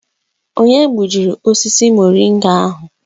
Onye gbujiri osisi muringa ahụ?